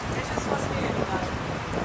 Bəli, bu o qədər də ağır deyil.